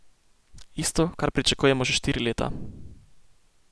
Isto, kar pričakujemo že štiri leta.